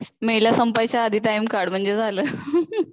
मेला संपायच्या आधी टाईम काढ म्हणजे झालं